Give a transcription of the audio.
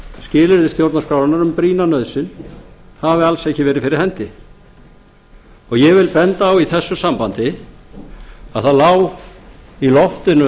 skilyrði stjórnarskrárinnar um brýna nauðsyn hafi alls ekki verið fyrir hendi og ég vil benda á í þessu sambandi að það lá í loftinu